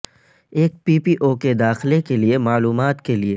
ایک P P O کے داخلہ کے لئے معلومات کے لئے